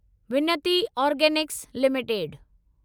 विनती organics limited